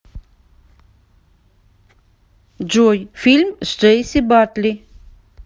джой фильм с джейси батли